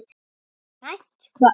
Grænt hvað?